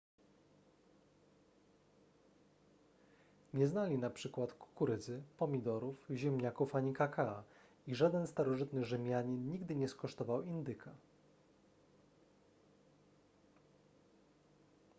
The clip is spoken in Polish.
nie znali na przykład kukurydzy pomidorów ziemniaków ani kakaa i żaden starożytny rzymianin nigdy nie skosztował indyka